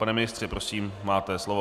Pane ministře, prosím, máte slovo.